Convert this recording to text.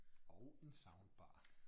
Og en soundbar